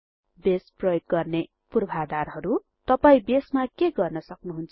base प्रयोग गर्न पूर्वाधारहरु तपाई बेसमा के गर्न सक्नुहुन्छ